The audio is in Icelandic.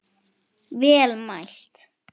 Vel mælt.